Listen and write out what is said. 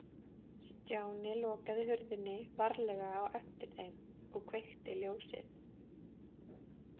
Stjáni lokaði hurðinni varlega á eftir þeim og kveikti ljósið.